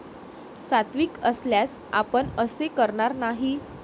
सात्विक असल्यास आपण असे करणार नाही.